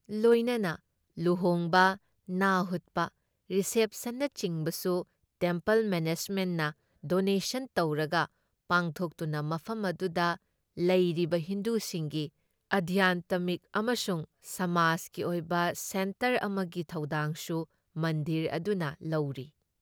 ꯂꯣꯏꯅꯅ ꯂꯨꯍꯣꯡꯕ, ꯅꯥꯍꯨꯠꯄ, ꯔꯤꯁꯦꯞꯁꯟꯅꯆꯤꯡꯕꯁꯨ ꯇꯦꯝꯄꯜ ꯃꯦꯅꯦꯖꯃꯦꯟꯠꯅ ꯗꯣꯅꯦꯁꯟ ꯇꯧꯔꯒ ꯄꯥꯡꯊꯣꯛꯇꯨꯅ ꯃꯐꯝ ꯑꯗꯨꯗ ꯂꯩꯔꯤꯕ ꯍꯤꯟꯗꯨꯁꯤꯡꯒꯤ ꯑꯙ꯭ꯌꯥꯟꯇꯃꯤꯛ ꯑꯃꯁꯨꯡ ꯁꯃꯥꯖꯒꯤ ꯑꯣꯏꯕ ꯁꯦꯟꯇꯔ ꯑꯃꯒꯤ ꯊꯧꯗꯥꯡꯁꯨ ꯃꯟꯗꯤꯔ ꯑꯗꯨꯅ ꯂꯧꯔꯤ ꯫